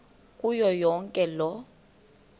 kuyo yonke loo